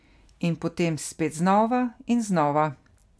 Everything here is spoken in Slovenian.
In potem spet znova in znova.